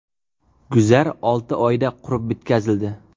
Guzar olti oyda qurib bitkazildi.